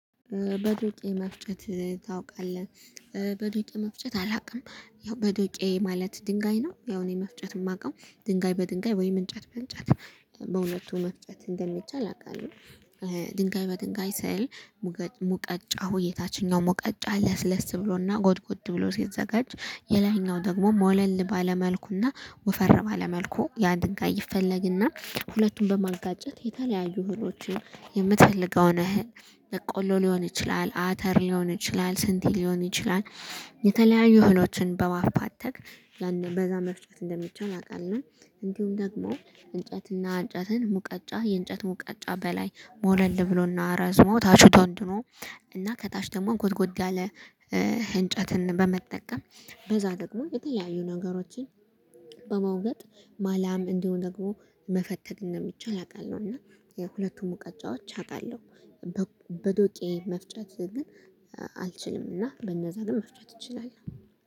በዶቄ መፍጨት ታውቃለህ በዶቄ መፍጨት አላውቅም ያው በዶቄ ማለት ድንጋይ ነው። ያው እኔ መፍጨት የማውቀው ድንጋይ በድንጋይ ወይም እንጨት በእንጨት በሁለቱ መፍጨት እንደሚቻል አውቃለሁ። ድንጋይ በድንጋይ ስል ሙቀጫ ወይ የታችኛው ሙቀጫ ለስለስ ብሎና ጎድጎድ ብሎ ሲዘጋጅ የላይኛው ደግሞ ሞለል ባለ መልኩና ወፈር ባለ መልኩ ያ ድንጋይ ይፈለግና ሁለቱም በማጋጨት የተለያዩ እህሎችን የምትፈልገውን በቆሎ ሊሆን ይችላል አተር ሊሆን ይችላል ስንዴ ሊሆን ይችላል። የተለያዩ እህሎችን በማፍተክ በዛ መፍጨት እንደሚቻል አውቃለሁ። እንዲሁም ደግሞ እንጨትና እንጨትን ሙቀጫ የእንጨት ሙቀጫ በላይ ሞለል ብሎና አረዝሞ ታቹ ጎድጉዶ እና ከታች ደግሞ ጎድ ጎድ ያለ እንጨትን በመጠቀም በዛ ደግሞ የተለያዩ ነገሮችን በመውገጥ ማላም እንዲሁ ደግሞ መፈተግ እንደሚቻል አውቃለሁ። እና የሁለቱም ሙቀጫዎች አውቃለሁ። በዶቄ መፍጨት ግን አልችልም እና በነዛ ግን መፍጨት እችላለሁ